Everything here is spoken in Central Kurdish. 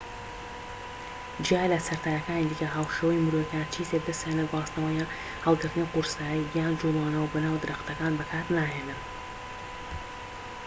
جیا لە سەرەتاییەکانی دیکە هاوشێوە مرۆییەکان چی تر دەستیان لە گواستنەوە یان هەڵگرتنی قورسایی یان جوڵانەوە بەناو درەختەکان بەکار ناهێنن